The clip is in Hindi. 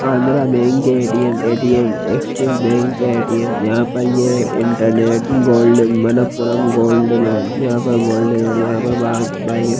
आंध्र बैंक के ATM. ATM. Axis bank ATM. यहां पर ये internet gold Manappuram gold loan यहां पर गोल्ड लोन यहां पर बाहर बाई --